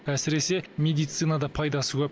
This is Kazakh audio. әсіресе медицинада пайдасы көп